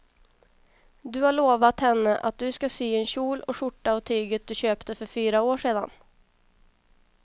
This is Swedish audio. Du har lovat henne att du ska sy en kjol och skjorta av tyget du köpte för fyra år sedan.